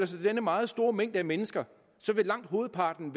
sig denne meget store mængde af mennesker vil langt hovedparten